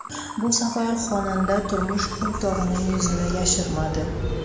Bu safar xonanda turmush o‘rtog‘ining yuzini yashirmadi.